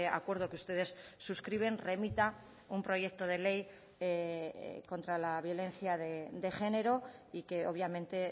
acuerdo que ustedes suscriben remita un proyecto de ley contra la violencia de género y que obviamente